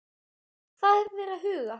Hvað eru þeir að huga?